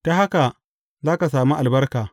Ta haka, za ka sami albarka.